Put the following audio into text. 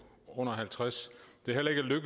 trods